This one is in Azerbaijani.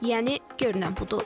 Yəni görünən budur.